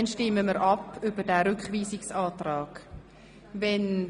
Schliesslich stimmen wir über den Rückweisungsantrag ab.